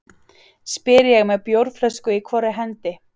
spyr ég með bjórflösku í hvorri hendi.